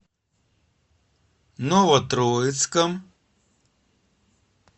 новотроицком